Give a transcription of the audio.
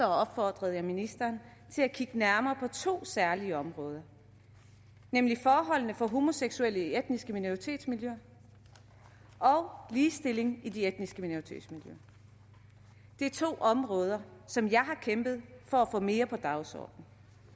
opfordrede jeg ministeren til at kigge nærmere på to særlige områder nemlig forholdene for homoseksuelle i etniske minoritetsmiljøer og ligestillingen i de etniske minoritetsmiljøer det er to områder som jeg har kæmpet for at få mere på dagsordenen